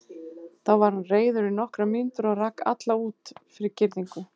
Þá var hann reiður í nokkrar mínútur og rak alla út fyrir girðingu.